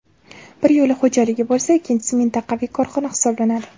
Biri yo‘l xo‘jaligi bo‘lsa, ikkinchisi mintaqaviy korxona hisoblanadi.